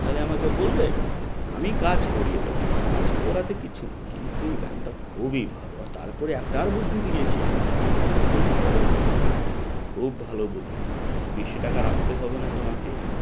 তাহলে আমাকে বলবে আমি কাজ করিয়ে দেব কাজ করাতে কিছু না কিন্তু এই bank টা খুবই ভাল তারপরে একটা আর বুদ্ধি দিয়েছে ওটা তোমাকে আমি পরে বলব খুব ভালো বুদ্ধি কি বেশি টাকা রাখতে হবে না তোমাকে